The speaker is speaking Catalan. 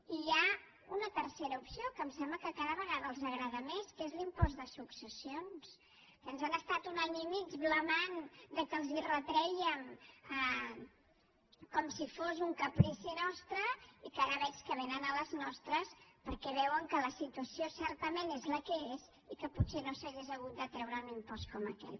i hi ha una tercera opció que em sembla que cada vegada els agrada més que és l’impost de successions que ens han estat un any i mig blasmant que els retrèiem com si fos un caprici nostre i que ara veig que vénen a les nostres perquè veuen que la situació certament és la que és i que potser no s’hauria hagut de treure un impost com aquell